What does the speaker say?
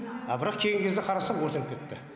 а бірақ кейінгі кезде қарасақ өртеніп кетіпті